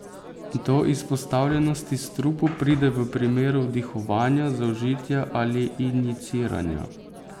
Do izpostavljenosti strupu pride v primeru vdihovanja, zaužitja ali injiciranja.